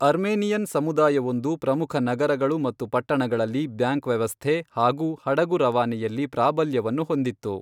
Armenian ಸಮುದಾಯವೊಂದು ಪ್ರಮುಖ ನಗರಗಳು ಮತ್ತು ಪಟ್ಟಣಗಳಲ್ಲಿ ಬ್ಯಾಂಕ್ ವ್ಯವಸ್ಥೆ ಹಾಗೂ ಹಡಗು ರವಾನೆಯಲ್ಲಿ ಪ್ರಾಬಲ್ಯವನ್ನು ಹೊಂದಿತ್ತು.